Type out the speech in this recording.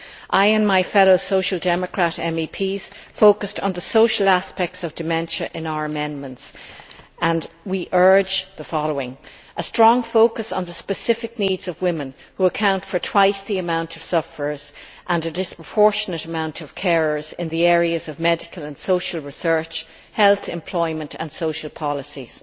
I, and my fellow Social Democrat MEPs, focused on the social aspects of dementia in our amendments and we urge the following We call for a strong focus on the specific needs of women, who account for twice the number of sufferers and a disproportionate number of carers, in the areas of medical and social research, health, employment and social policies.